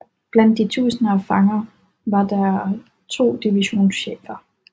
Blandt de tusinder af fanger var der to divisionschefer